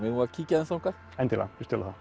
eigum við að kíkja aðeins þangað endilega